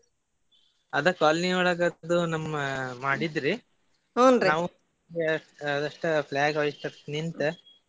ಅದ colony ಒಳಗ ಅದು ನಮ್ಮ ಮಾಡಿದ್ರಿ ನಾವು just flag hoist ನಿಂತ್.